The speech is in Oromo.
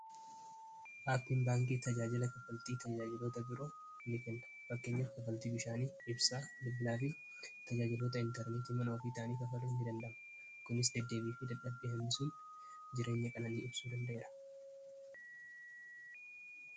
Aappiin baankii tajaajila kafaltii tajaajilota biroo ni kenna bakkeenya kafaltii bishaanii ibsaa lubbilaa fi tajaajilota intarneetii manoofiitaanii kafaluu in dandama kunis dbi fi dadhabe hamisuun jireenya qananii ibsuu dandaeera